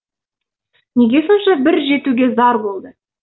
неге сонша бір жетуге зар болды